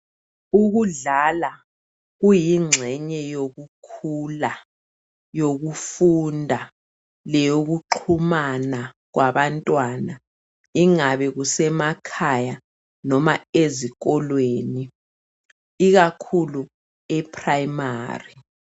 Ukudlala kuyingxenye yokukhula yokufunda leyokuxhumana kwabantwana ingabe kusemakhaya noma ezikolweni ikakhulu e primary.